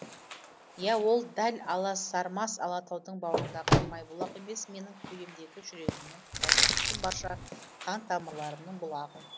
иә ол дәл аласармас алатаудың бауырындағы майбұлақ емес менің кеудемдегі жүрегіммен тұтасып кеткен барша қан тамырларымның бұлағы